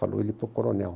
Falou ele para o coronel.